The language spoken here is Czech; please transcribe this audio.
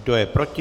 Kdo je proti?